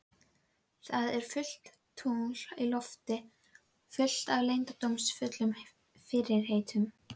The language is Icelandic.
Það er fullt tungl á lofti, fullt af leyndardómsfullum fyrirheitum.